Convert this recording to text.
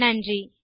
நன்றி